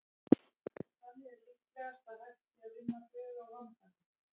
Þannig er líklegast að hægt sé að vinna bug á vandanum.